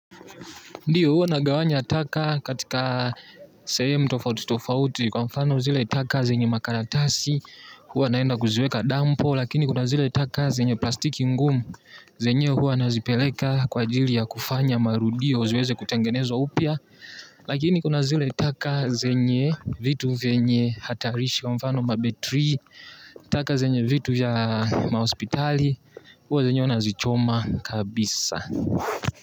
Ndio huwa nagawanya taka katika sehemu tofauti tofauti kwa mfano zile taka zenye makaratasi huwa naenda kuziweka damp lakini kuna zile taka zenye plastiki ngumu zenyewe huwa nazipeleka kwa ajili ya kufanya marudio ziweze kutengenezwa upwa lakini kuna zile taka zenye vitu vyenye hatarisho kwa mfano mabetri taka zenye vitu vya mahospitali huwa zenyewe unazichoma kabisa.